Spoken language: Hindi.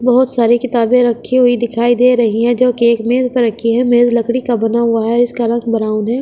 बहोत सारी किताबें रखी हुई दिखाई दे रही हैं जो की एक मेज पर रखी है मेज लकड़ी का बना हुआ है इसका रंग ब्राउन है।